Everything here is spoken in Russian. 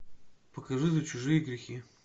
покажи за чужие грехи